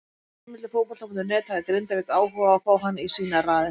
Samkvæmt heimildum Fótbolta.net hafði Grindavík áhuga á að fá hann í sínar raðir.